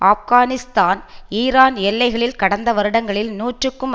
Afghanistan Iran எல்லைகளில் கடந்த வருடங்களில் நூற்றுக்கும்